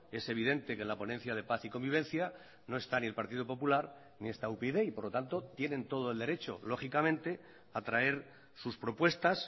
es evidente que la ponencia de paz y convivencia no está ni el partido popular ni está upyd y por lo tanto tienen todo el derecho lógicamente a traer sus propuestas